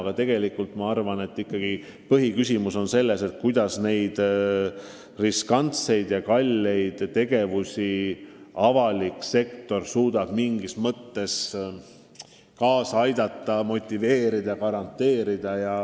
Aga tegelikult ma arvan, et põhiküsimus on selles, kuidas avalik sektor suudab neid riskantseid ja kalleid investeeringuid motiveerida ja mingis mõttes garanteerida.